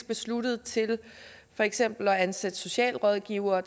besluttet til for eksempel at ansætte socialrådgivere